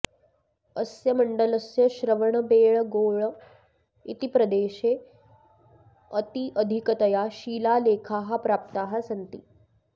अस्य मण्डलस्य श्रवणबेळगोळ इति प्रदेशे अत्यधिकतया शिलालेखाः प्राप्ताः सन्ति